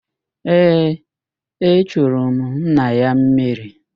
Ee, echuru m nna ya mmiri